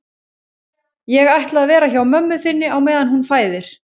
Ég ætla að vera hjá mömmu þinni á meðan hún fæðir